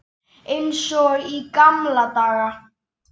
Eins og í gamla daga.